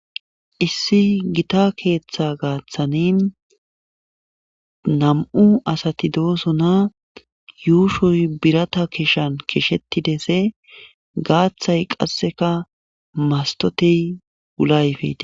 issi gita keeththa gaaththani nam7u asati doosona yuushoy birata kishan kishetidese gaaththay qasseka mastotey ulayfete